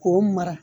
K'o mara